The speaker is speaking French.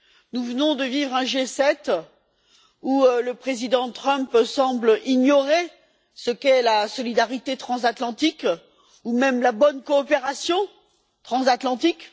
Nous venons de vivre un G7 où le président Trump semble ignorer ce qu'est la solidarité transatlantique ou même la bonne coopération transatlantique.